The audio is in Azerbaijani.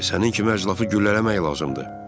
Sənin kimi əclafı güllələmək lazımdır.